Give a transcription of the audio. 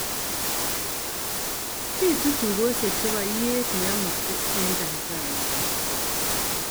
pitu tugosieek chepo ieet neyamakseng en Tanzania